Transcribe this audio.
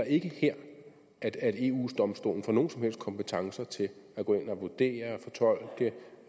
ikke her at eu domstolen får nogen som helst kompetencer til at gå ind og vurdere eller fortolke